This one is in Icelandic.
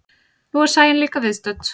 Nú er Sæunn líka viðstödd.